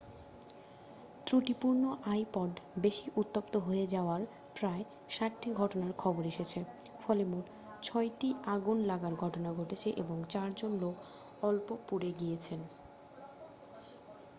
ত্রুটিপূর্ণ আইপড বেশি উত্তপ্ত হয়ে যাওয়ার প্রায় ৬০ টি ঘটনার খবর এসেছে ফলে মোট ছয়টি আগুন লাগার ঘটনা ঘটেছে এবং চারজন লোক অল্প পুড়ে গিয়েছেন।